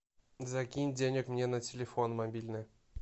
закинь денег мне на телефон мобильный